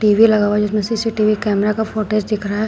TV लगा हुआ जिसमें सी_सी_टी_वी कैमरा का फुटेज दिख रहा है।